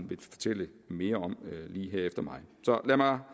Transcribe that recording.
vil fortælle mere om lige her efter mig så lad mig